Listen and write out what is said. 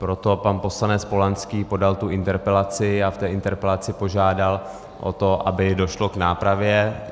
Proto pan poslanec Polanský podal tu interpelaci a v té interpelaci požádal o to, aby došlo k nápravě.